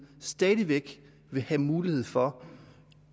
stadig væk vil have mulighed for